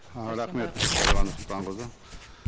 ы рахмет дариға нұрсұлтанқызы